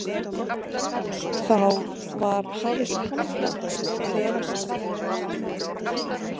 Þá var hafist handa við að versla.